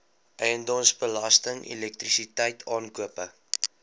eiendomsbelasting elektrisiteit aankope